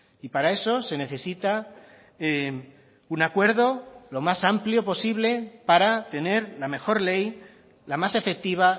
y para eso se necesita un acuerdo lo más amplio posible para tener la mejor ley la más efectiva